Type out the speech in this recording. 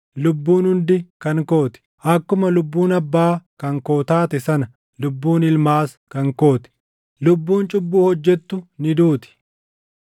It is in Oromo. Lubbuun hundi kan koo ti; akkuma lubbuun abbaa kan koo taate sana lubbuun ilmaas kan koo ti. Lubbuun cubbuu hojjettu ni duuti.